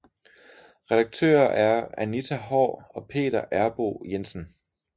Redaktører er Anita Haahr og Peter Errboe Jensen